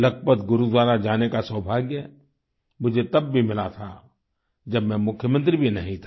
लखपत गुरुद्वारा जाने का सौभाग्य मुझे तब भी मिला था जब मैं मुख्यमंत्री भी नहीं था